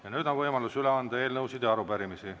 Ja nüüd on võimalus üle anda eelnõusid ja arupärimisi.